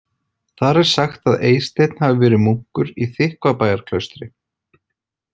Þar er sagt að Eysteinn hafi verið munkur í Þykkvabæjarklaustri .